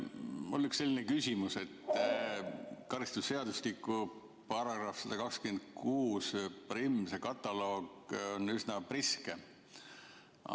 Mul on selline küsimus, et karistusseadustiku § 1261 kataloog on üsna priske.